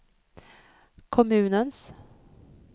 kommunens